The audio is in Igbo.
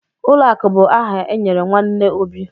Ụlọakụ bụ aha enyere nwanne Obi.